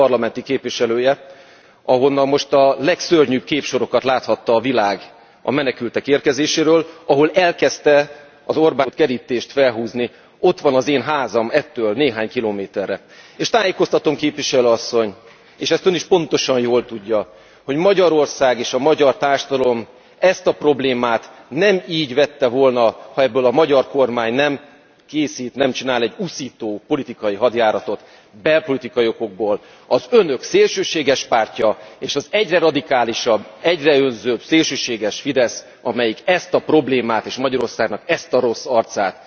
Valóban, én 12 éven keresztül annak a városnak és térségének voltam választott parlamenti képviselője, ahonnan most a legszörnyűbb képsorokat láthatta a világ a menekültek érkezéséről, ahol elkezdte az Orbán kormány a szögesdrótkerítést felhúzni, ott van az én házam ettől néhány kilométerre. És tájékoztatom Képviselő Asszony, és ezt Ön is pontosan jól tudja, hogy Magyarország és a magyar társadalom ezt a problémát nem így vette volna, ha ebből a magyar kormány nem készít, nem csinál egy uszító politikai hadjáratot belpolitikai okokból. Az Önök szélsőséges pártja és az egyre radikálisabb, egyre önzőbb szélsőséges Fidesz, amelyik ezt a problémát, és Magyarországnak ezt a rossz arcát